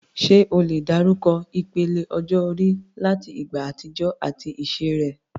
Ṣé o lè dárúkọ ìpele ọjọ́ orí láti ìgbà àtijọ́ àti iṣẹ́ rẹ̀?